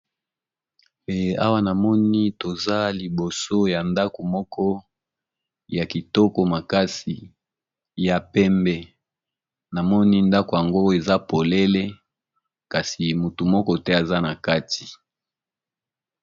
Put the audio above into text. Pe awa namoni toza liboso ya ndako moko ya kitoko makasi ya pembe, namoni ndako yango eza polele kasi motu moko te aza na kati.